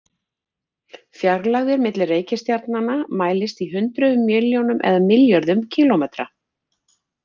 Fjarlægðir milli reikistjarnanna mælast í hundruð milljónum eða milljörðum kílómetra.